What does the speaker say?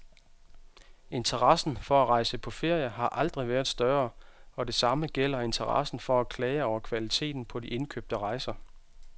Interessen for at rejse på ferie har aldrig været større, og det samme gælder interessen for at klage over kvaliteten på de indkøbte rejser.